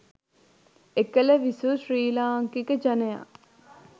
එකල විසූ ශ්‍රී ලාංකික ජනයා